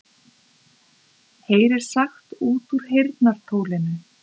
Heyrir sagt út úr heyrnartólinu